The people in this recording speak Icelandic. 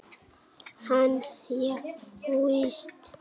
Hann þjáist.